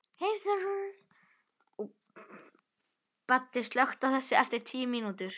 Baddi, slökktu á þessu eftir tíu mínútur.